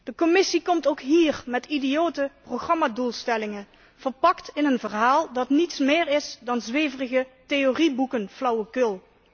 De Commissie komt ook hier met idiote programmadoelstellingen, verpakt in een verhaal dat niets meer is dan zweverige theorieboekenflauwekul.